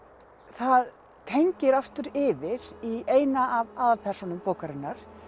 það tengir aftur yfir í eina af aðalpersónum bókarinnar